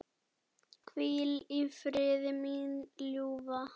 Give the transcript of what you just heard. Hvíl í friði, mín ljúfa.